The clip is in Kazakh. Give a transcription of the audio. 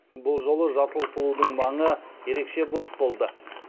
бұл жолы жасыл сұлудың маңы ерекше бос болды